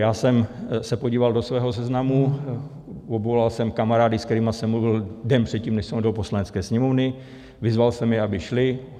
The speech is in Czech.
Já jsem se podíval do svého seznamu, obvolal jsem kamarády, s kterými jsem mluvil den předtím, než jsem odjel do Poslanecké sněmovny, vyzval jsem je, aby šli.